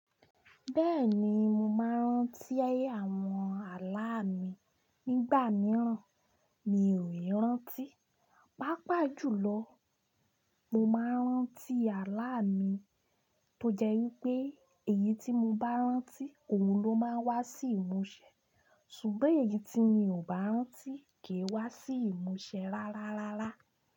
Bẹ́ẹ̀ni, mo máa ń rántí àwọn àlá mi. Nígbà mìíràn, mi ò lè rántí. Pápà jùlọ, mo máa ń rántí àlá mi tó jẹ́ wípé èyí tí mo bá rántí òun ló máa ń wá sí ìmúṣẹ. Ṣùgbọ́n èyí tí mi ò bá rántí kì í wá sí ìmúṣẹ rárárárá.